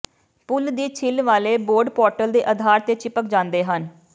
ਪੁੱਲ ਦੀ ਛਿੱਲ ਵਾਲੇ ਬੋਰਡ ਪੋਰਟਲ ਦੇ ਅਧਾਰ ਤੇ ਚਿਪਕ ਜਾਂਦੇ ਹਨ